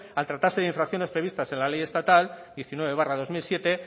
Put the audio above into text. al tratarse de infracciones previstas en la ley estatal diecinueve barra dos mil siete